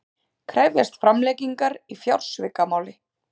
Krefjast framlengingar í fjársvikamáli